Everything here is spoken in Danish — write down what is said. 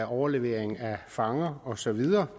overleveringen af fanger osv der